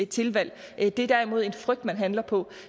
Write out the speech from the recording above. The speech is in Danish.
tilvalg det er derimod en frygt man handler på